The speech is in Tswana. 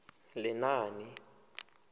lenaane